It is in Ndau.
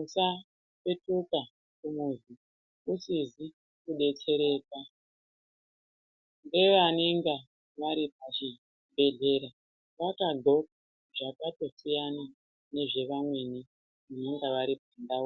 usapetuka kumuzi usizi kudetsereka ngevanonga vari pachibhedhlera vakagxoka zvakatosiyana nezvevamweni vanenge vari kumbatso.